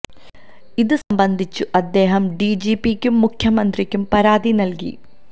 ഇത് സംബന്ധിച്ചു അദ്ദേഹം ഡി ജി പിക്കും മുഖ്യമന്ത്രിക്കും പരാതി നൽകി